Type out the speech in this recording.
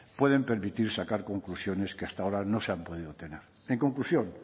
pueden permitir sacar conclusiones que hasta ahora no se han podido tener en conclusión